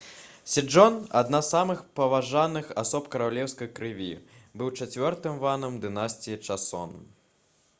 седжон адна з самых паважаных асоб каралеўскай крыві быў чацвёртым ванам дынастыі часон